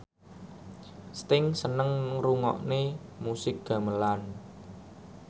Sting seneng ngrungokne musik gamelan